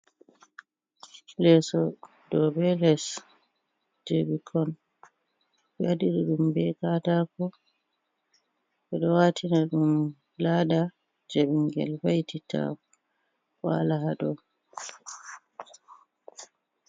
Leso do be les je bikkon be wadiri dum be katako, bedo watina dum lada je bingel vai'titta wala hado.